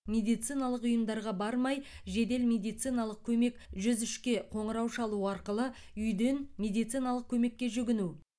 медициналық ұйымдарға бармай жедел медициналық көмек жүз үшке қоңырау шалу арқылы үйден медициналық көмекке жүгіну